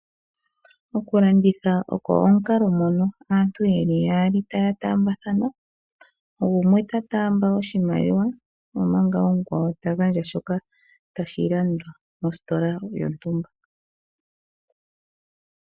Okulanditha ogo omukalo ngoka aantu yeli yaali taya taambathana, gumwe ta taamba oshimaliwa omanga omukwawo tagandja shoka tashi landwa mositola yontumba.